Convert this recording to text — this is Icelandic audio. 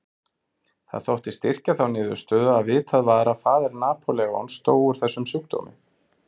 Það þótti styrkja þá niðurstöðu að vitað var að faðir Napóleons dó úr þessum sjúkdómi.